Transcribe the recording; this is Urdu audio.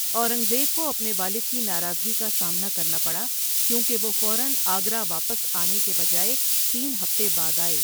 اورنگ زیب کو اپنے والد کی ناراضگی کا سامنا کرنا پڑا کیونکہ وہ فوراََ آگرہ واپس آنے کہ بجائے تین ہفتے بعد آئے۔